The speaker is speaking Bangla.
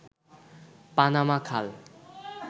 পানামা খাল